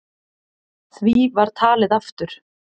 Því var talið aftur.